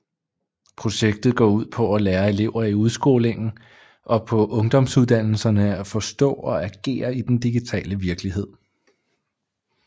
Projektet går ud på at lære elever i udskolingen og på ungdomsuddannelserne at forstå og agere i den digitale virkelighed